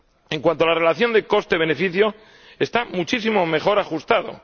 En cuanto a la relación coste beneficio, está muchísimo mejor ajustada.